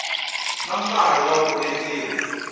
na nkarhi wa ku endliwa